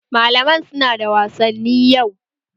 Malaman su na da wasanni yau